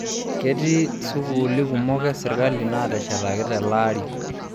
Ketii sukuuli kumok e serkali naateshetaki telaari